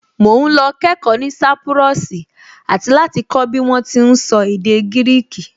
Mò ún lọ kẹ́ẹ̀kọ́ ní sápúrọ́ọ̀sì àti láti kọ́ bí wọ́n ti ún sọ èdè gírìkì